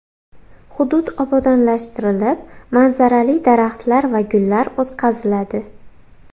Hudud obodonlashtirilib, manzarali daraxtlar va gullar o‘tqaziladi.